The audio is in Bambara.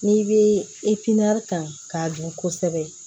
N'i bɛ ta k'a dun kosɛbɛ